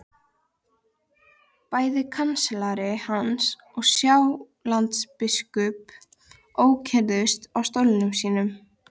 Bæði kanslari hans og Sjálandsbiskup ókyrrðust á stólum sínum.